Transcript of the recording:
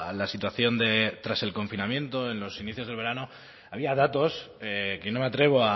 la situación tras el confinamiento en los inicios del verano había datos que no me atrevo